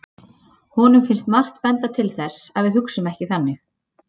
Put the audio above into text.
Honum finnst margt benda til þess að við hugsum ekki þannig.